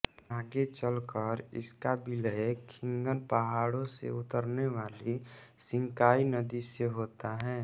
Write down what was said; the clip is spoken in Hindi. आगे चलकर इसका विलय ख़ीन्गन पहाड़ों से उतरने वाली शिन्काई नदी से होता है